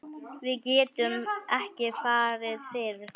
Við getum ekki farið fyrr.